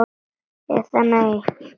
Eða nei, ekki allir!